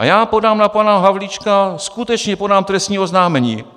A já podám na pana Havlíčka, skutečně podám trestní oznámení.